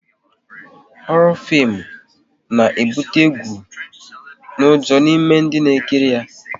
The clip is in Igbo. Horo fim na ebute egwu n'ujo n'ime dị na-ekiri ya